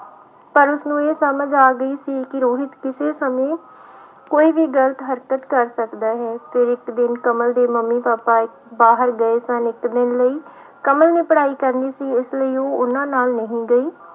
ਪਰ ਉਸਨੂੰ ਇਹ ਸਮਝ ਆ ਗਈ ਸੀ ਕਿ ਰੋਹਿਤ ਕਿਸੇ ਸਮੇਂ ਕੋਈ ਵੀ ਗ਼ਲਤ ਹਰਕਤ ਕਰ ਸਕਦਾ ਹੈ ਤੇ ਇੱਕ ਦਿਨ ਕਮਲ ਦੇ ਮੰਮੀ ਪਾਪਾ ਬਾਹਰ ਗਏ ਸਨ ਇੱਕ ਦਿਨ ਲਈ, ਕਮਲ ਨੇ ਪੜ੍ਹਾਈ ਕਰਨੀ ਸੀ ਇਸ ਲਈ ਉਹਨਾਂ ਨਾਲ ਨਹੀਂ ਗਈ।